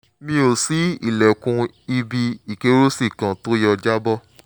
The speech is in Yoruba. mò ń ṣí ilẹ̀kùn ibi ìkẹ́rùsí kan tó yọ jábọ́